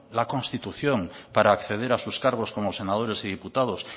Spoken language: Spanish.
la constitución para acceder a sus cargos como senadores y diputados